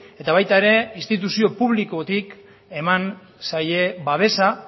eta baita ere instituzio publikotik eman zaie babesa